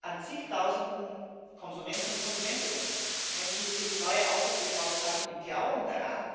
an Zigtausenden Konsumenten und Konsumentinnen Menschen, die sich neue Autos gekauft haben im Glauben daran, dass die sauberer sind.